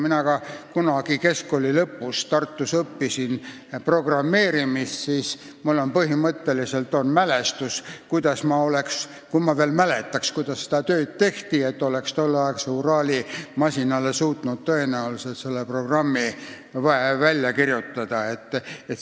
Mina ka kunagi keskkooli lõpus õppisin Tartus programmeerimist ja ma oleksin suutnud tõenäoliselt tolleaegsele Urali masinale selle programmi kirjutada.